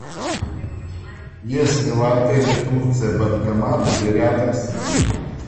есть ли в отеле турция банкомат или рядом с ним